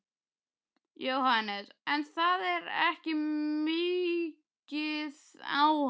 Jóhannes: En það er ekki migið á hann?